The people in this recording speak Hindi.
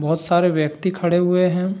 बहोत सारे व्यक्ति खड़े हुए हैं।